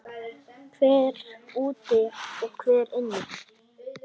Þessi forseti er drasl!